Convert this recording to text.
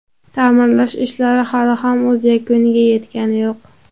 Ta’mirlash ishlari hali ham o‘z yakuniga yetgani yo‘q.